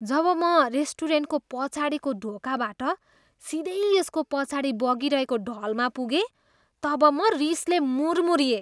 जब म रेस्टुरेन्टको पछाडिको ढोकाबाट सिधै यसको पछाडि बगिरहेको ढलमा पुगेँ तब म रिसले मुर्मुर्रिएँ।